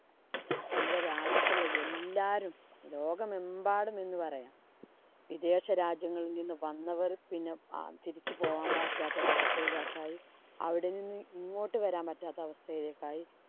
നമ്മുടെ രാജ്യത്തുള്ള എല്ലാരും ലോകമെമ്പാടും എന്ന് പറയാം. വിദേശരാജ്യങ്ങളില്‍ നിന്ന് വന്നവര്‍ പിന്നെ തിരിച്ചു പോകാന്‍ പറ്റാത്ത ഒരവസ്ഥയിലൊക്കെ ആയി. അവിടെ നിന്ന് ഇങ്ങോട്ട് വരാന്‍ പറ്റാത്ത അവസ്ഥയിലൊക്കെയായി.